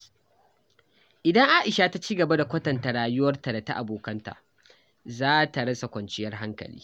Idan Aisha ta ci gaba da kwatanta rayuwarta da ta abokanta, za ta rasa kwanciyar hankali.